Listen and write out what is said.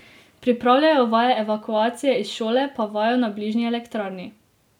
Pripravljajo vaje evakuacije iz šole pa vajo na bližnji elektrarni.